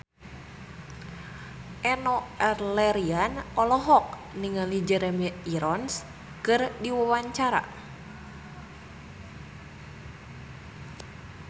Enno Lerian olohok ningali Jeremy Irons keur diwawancara